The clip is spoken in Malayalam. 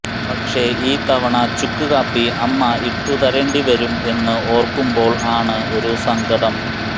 പക്ഷേ ഈ തവണ ചുക്ക്കാപ്പി അമ്മ ഇട്ടു തരേണ്ടി വരും എന്നു ഓർക്കുമ്പോൾ ആണ് ഒരു സങ്കടം